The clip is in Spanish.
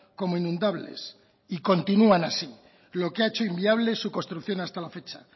como inundables y continúan así lo que ha hecho inviable su construcción hasta la fecha